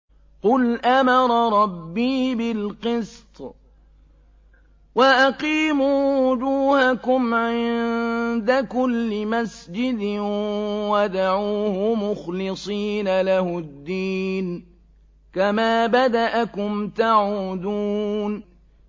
قُلْ أَمَرَ رَبِّي بِالْقِسْطِ ۖ وَأَقِيمُوا وُجُوهَكُمْ عِندَ كُلِّ مَسْجِدٍ وَادْعُوهُ مُخْلِصِينَ لَهُ الدِّينَ ۚ كَمَا بَدَأَكُمْ تَعُودُونَ